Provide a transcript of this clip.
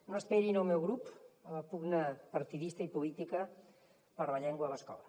no esperin el meu grup a la pugna partidista i política per la llengua a l’escola